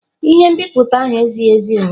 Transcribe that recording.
Ihe nbipute ahụ ezighi ezi ụnyaahụ.